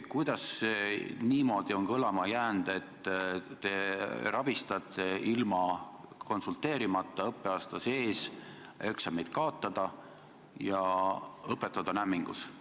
Kõlama on jäänud niimoodi, et te rabistate teistega konsulteerimata õppeaasta sees eksameid kaotada ja õpetajad on hämmingus.